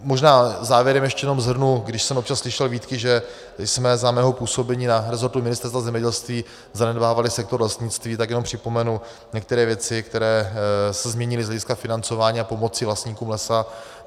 Možná závěrem ještě jenom shrnu, když jsem občas slyšel výtky, že jsme za mého působení na resortu Ministerstva zemědělství zanedbávali sektor lesnictví, tak jenom připomenu některé věci, které se změnily z hlediska financování a pomoci vlastníkům lesa.